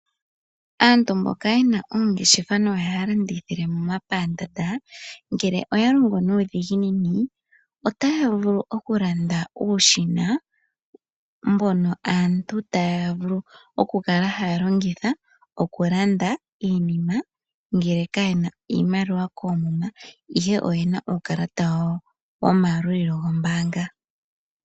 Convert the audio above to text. Aantu mboka yena oongeshefa no haya landithile momapandaanda ngele oya longo nuudhiginini otaya vulu oku landa uushina mbono aantu taya vulu oku kala haya longitha oku landa iinima ngele kayena iimaliwa koomuma ihe oyena uukalata wawo wo mayalulilo gombaanga.